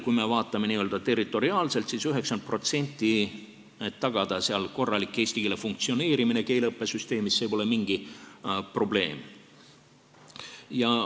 Kui me vaatame n-ö territoriaalselt, siis see, et tagada 90%-liselt korralik eesti keele funktsioneerimine keeleõppesüsteemis, pole mingi probleem.